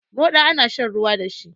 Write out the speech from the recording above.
Moɗa ana shan ruwa dashi